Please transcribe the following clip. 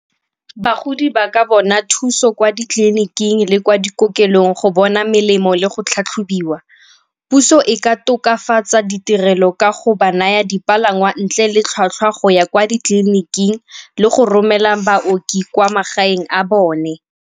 Bagodi ba ka bona thuso kwa ditleliniking le kwa dikokelong go bona melemo le go tlhatlhobiwa. Puso e ka tokafatsa ditirelo ka go ba naya dipalangwa ntle le tlhwatlhwa go ya kwa ditleliniking le go romela baoki kwa magaeng a bone.